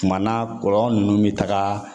Tuma na kɔlɔn ninnu bi taga